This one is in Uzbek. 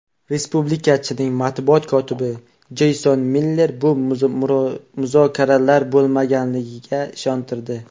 Respublikachining matbuot kotibi Jeyson Miller bu muzokaralar bo‘lmaganligiga ishontirdi.